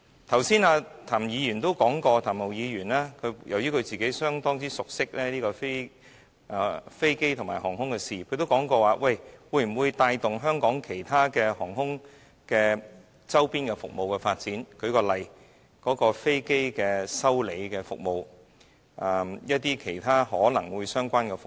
譚文豪議員剛才也表示，由於他個人相當熟悉飛機和航空的事宜，所以他質疑這樣是否能夠帶動香港航空的其他周邊服務的發展，例如飛機維修的服務和其他相關的服務。